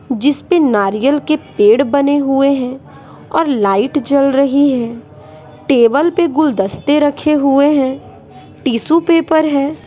जिस पे नारियल के पेड़ बने हुए है और लाइट जल रही है टेबल पे गुलदस्ते रखे हुए है टिशू पेपर है।